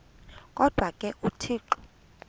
kodwa ke uthixo